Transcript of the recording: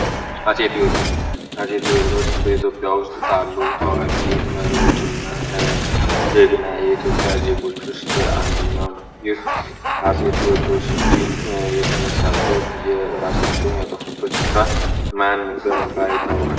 አሴትወድሮስ በኢትዮጵያ ውስጥ ታሉ ታዋቂ መሬዎች ና ጀግ ና የኢትዮጵያ ዜጎች ውስጥ አንድኛው ነው ይህ አሴቲወድሮስ ዲል የተነሳበት የእራሳቸውን ያጠፉበት ስፍራ ማን በመንባሪ ይታወቀን